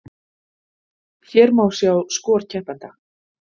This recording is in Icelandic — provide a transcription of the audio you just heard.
Hér má sjá skor keppenda